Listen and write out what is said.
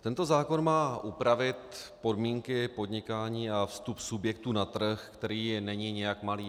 Tento zákon má upravit podmínky podnikání a vstup subjektů na trh, který není nijak malý.